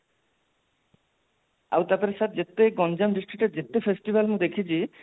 ଆଉ ତାପରେ sir ଯେତେ ଗଞ୍ଜାମ district ଯେତେ festival ମୁଁ ଦେଖିଛି